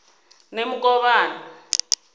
nemukovhani